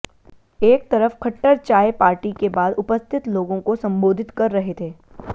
एक तरफ खट्टर चाय पार्टी के बाद उपस्थित लोगों को संबोधित कर रहे थे